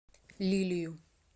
лилию